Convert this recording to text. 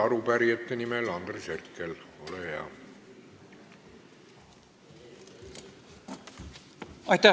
Arupärijate nimel Andres Herkel, ole hea!